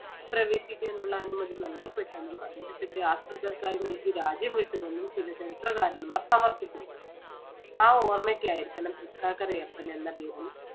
പ്രവേശിക്കാനുള്ള അനുമതി നൽകപ്പെട്ടന്നും അദ്ദേഹത്തിന്‍റെ ആശ്രിതർക്കായി നൽകിയ രാജ്യം വിട്ടുവെന്നും ചില ചരിത്രകാരന്മാർ സമർത്ഥിക്കുന്നു. ആ ഓർമ്മയ്ക്കായിരിക്കണം തൃക്കാക്കരയപ്പൻ എന്ന പേരിൽ